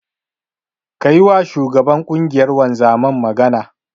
Ka yiwa shugaban ƙungiyar wanzaman magana.